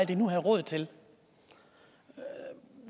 de nu havde råd til